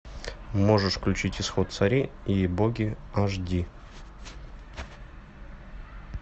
можешь включить исход царей и боги аш ди